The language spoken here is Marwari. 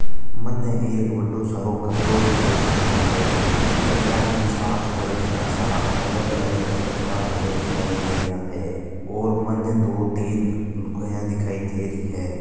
मन एक बडो सरो कमरों दिखाई देरो है बि कमरा की छत पर घणा सारा अलग अलग कलर का ढोल दिखाई दे रहा है और मन दो तीन लुगाया दिखाई देरी है।